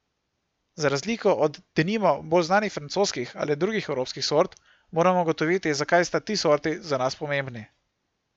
Za razliko od, denimo, bolj znanih francoskih ali drugih evropskih sort moramo ugotoviti, zakaj sta ti sorti za nas pomembni.